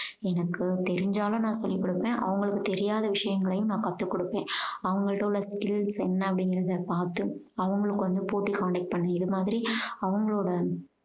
எனக்கு தெரிஞ்சாலும் நான் சொல்லி கொடுப்பேன். அவங்களுக்கு தெரியாத விஷயங்களையும் நான் கத்துக்கொடுப்பேன். அவங்ககிட்ட உள்ள skills என்ன அப்படீங்கறத பாத்து அவங்களுக்கு வந்து போட்டி conduct பண்ணி இது மாதிரி அவங்களோட